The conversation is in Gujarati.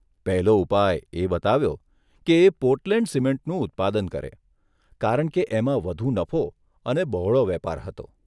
પહેલો ઉપાય એ બતાવ્યો કે એ પોર્ટલેન્ડ સિમેન્ટનું ઉત્પાદન કરે, કારણ કે એમાં વધુ નફો અને બહોળો વેપાર હતો.